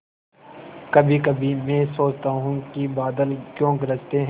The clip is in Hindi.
कभीकभी मैं सोचता हूँ कि बादल क्यों गरजते हैं